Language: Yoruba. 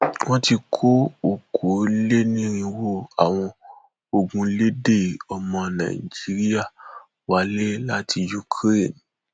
wọn ti kó okòólénírínwó àwọn ogunléndé ọmọ nàìjíríà wálé láti ukraine